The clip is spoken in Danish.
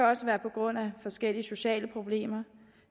også være på grund af forskellige sociale problemer